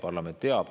Parlament teab.